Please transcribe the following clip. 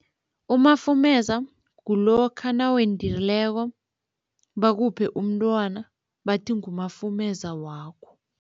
Umafumeza kulokha nawendileko bakuphe umntwana bathi ngumafumeza wakho.